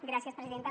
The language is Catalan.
gràcies presidenta